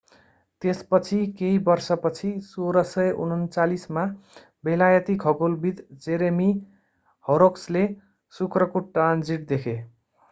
त्यसपछि केही वर्षपछि 1639 मा बेलायती खगोलविद jeremiah horrocks ले शुक्रको ट्रान्जिट देखे